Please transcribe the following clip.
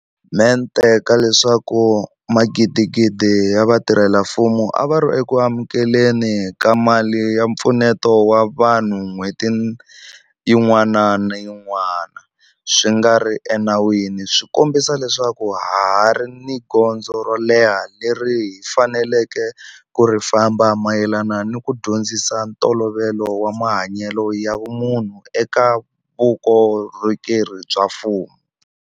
Mente ka leswaku magidigidi ya vatirhela mfumo a va ri eku amukele ni ka mali ya mpfuneto wa vanhu n'hweti yin'wana ni yin'ana swi nga ri enawini swi kombisa leswaku ha ha ri ni gondzo ro leha leri hi faneleke ku ri famba mayelana ni ku dyondzisa ntolovelo wa mahanyelo ya vumunhu eka vukorhokeri bya mfumo.